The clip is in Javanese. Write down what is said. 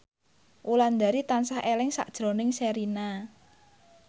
Wulandari tansah eling sakjroning Sherina